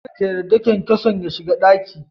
Kar ka yarda kyankyason ya shiga daki.